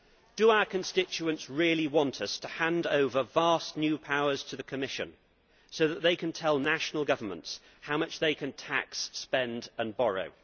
Do our constituents really want us to hand over vast new powers to the Commission so that it can tell national governments how much they can tax, spend and borrow?